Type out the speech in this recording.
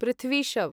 पृथ्वी शव्